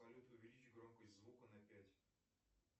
салют увеличь громкость звука на пять